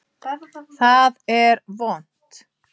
Það er vont.